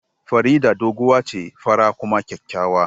Farida doguwa ce, fara kuma kyakkyawa